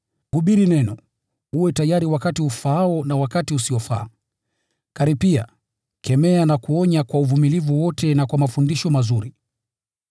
Hubiri Neno; kuwa tayari wakati ufaao na wakati usiofaa; karipia, kemea na utie moyo kwa uvumilivu wote na kwa mafundisho mazuri.